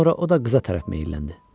Sonra o da qıza tərəf meyləndi.